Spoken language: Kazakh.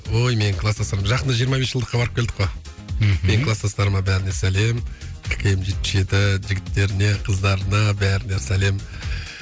ой менің кластастарым жақында жиырма бес жылдыққа барып келдік қой мхм менің кластастарыма бәріне сәлем ккм жетпіс жеті жігіттеріне қыздарына бәріне сәлем